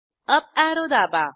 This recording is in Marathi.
अप ऍरो दाबा